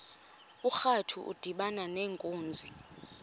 urantu udibana nenkunzi